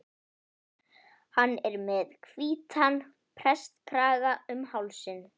Hann er með hvítan prestakraga um hálsinn.